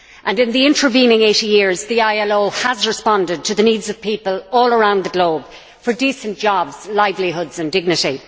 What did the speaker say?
In the intervening 80 years, the ILO has responded to the needs of people all around the globe for decent jobs, livelihoods and dignity.